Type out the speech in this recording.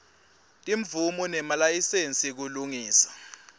timvumo nemalayisensi kulungisa